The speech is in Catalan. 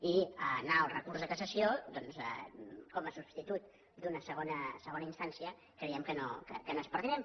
i anar al recurs de cassació doncs com a substitut d’una segona instància creiem que no és pertinent